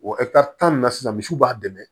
O tan ni na sisan misiw b'a dɛmɛ